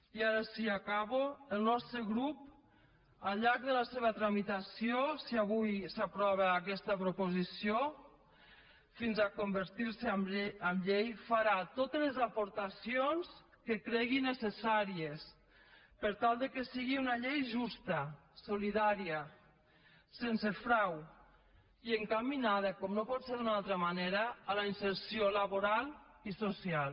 i ara sí acabo el nostre grup al llarg de la seva tramitació si avui s’aprova aquesta proposició fins a convertir se en llei farà totes les aportacions que cregui necessàries per tal que sigui una llei justa solidària sense frau i encaminada com no pot ser d’una altra manera a la inserció laboral i social